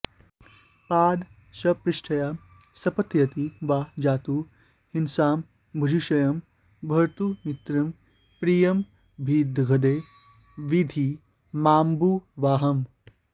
पादस्पृष्ट्या शपथयति वा जातु हिंसां भुजिष्यं भर्तुर्मित्रं प्रियमभिदधे विद्धि मामम्बुवाहम्